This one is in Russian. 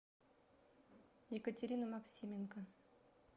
екатерину максименко